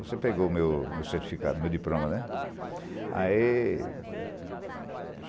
Você pegou meu meu certificado, meu diploma, né? Ae